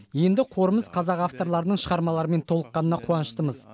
енді қорымыз қазақ авторларының шығармаларымен толыққанына қуаныштымыз